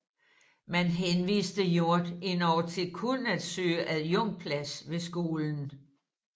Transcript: Man henviste Hjort endog til kun at søge adjunktplads ved skolen